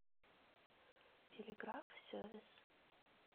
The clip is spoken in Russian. телеграф сервис